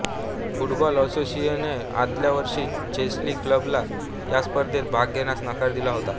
football असोसिएशने आदल्या वर्षी चेल्सी क्लबला या स्पर्धेत भाग घेण्यास नकार दिला होता